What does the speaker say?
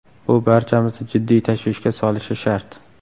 Bu barchamizni jiddiy tashvishga solishi shart.